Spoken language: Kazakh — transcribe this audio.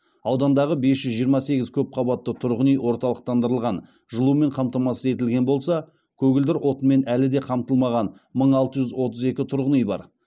аудандағы бес жүз жиырма сегіз көпқабатты тұрғын үй орталықтандырылған жылумен қамтамасыз етілген болса көгілдір отынмен әлі де қамтылмаған мың алты жүз отыз екі тұрғын үй бар